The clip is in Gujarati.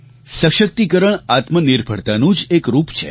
સશક્તિકરણ આત્મનિર્ભરતાનું જ એક રૂપ છે